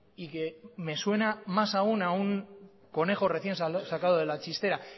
y que me suena más aún a un conejo recién sacado de la chistera